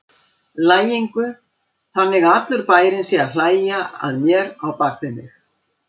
lægingu, þannig að allur bærinn sé að hlæja að mér á bak við mig.